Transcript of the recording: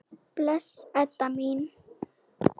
Bless, Edda mín.